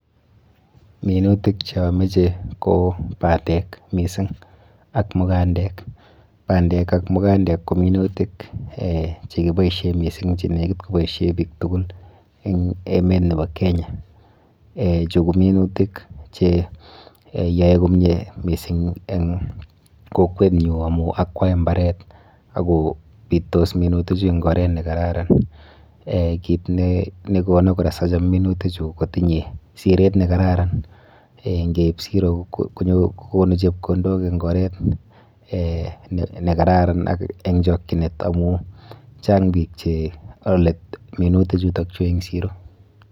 Minutik che ameche ko bandek mising ak mukandek, bandek ak mukandek ko minutik um che kiboisie mising che nekit koboisie piik tugul eng emet nebo Kenya, um chu ko minutik che yoe komie mising eng kokwenyu amu akwai mbaret ak kopitos minuti chu eng oret ne kararan, um kiit ne kono kora sacham minutichu kotinye siret ne kararan, ngeip siro kokonu chepkondok eng oret um ne kararan ak eng chokchinet amu, chang piik che ale minuti chutokchu eng siro.